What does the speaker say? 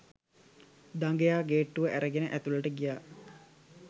දඟයා ගේට්ටුව ඇරගෙන ඇතුලට ගියා.